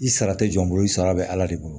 I sara tɛ jɔ n bolo i sara bɛ ala de bolo